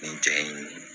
Nin cɛ in